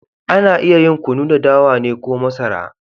Ana iya yin Kunu da dawa ne ko masara.